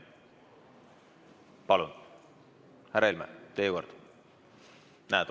Palun, härra Helme, teie kord!